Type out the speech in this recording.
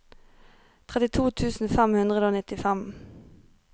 trettito tusen fem hundre og nittifem